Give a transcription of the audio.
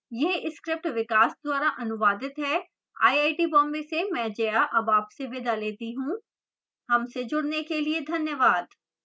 यह script विकास द्वारा अनुवादित है मैं जया अब आपसे विदा लेती हूँ हमसे जुडने के लिए धन्यवाद